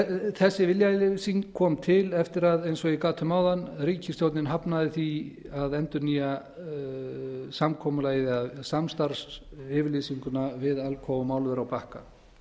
þessi viljayfirlýsing kom til eftir að eins og ég gat um áðan ríkisstjórnin hafnaði því að endurnýja samkomulagið eða samstarfsyfirlýsinguna við alcoa um álver á bakka